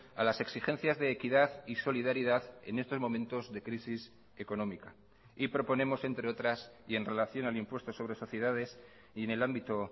a las exigencias de equidad y solidaridad en estos momentos de crisis económica y proponemos entre otras y en relación al impuesto sobre sociedades y en el ámbito